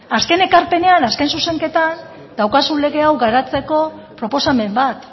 azken ekarpenean azken zuzenketan daukazun lege hau garatzeko proposamen bat